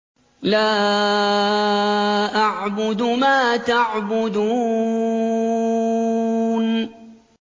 لَا أَعْبُدُ مَا تَعْبُدُونَ